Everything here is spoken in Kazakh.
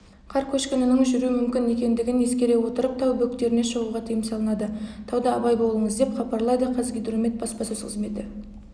қар көшкінінің жүру мүмкін екендігін ескере отырып тау бөктеріне шығуға тыйым салынады тауда абай болыңыз деп хабарлайды қазгидромет баспасөз қызметі